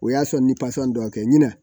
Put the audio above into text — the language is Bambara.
O y'a sɔrɔ ni dɔ kɛ ɲina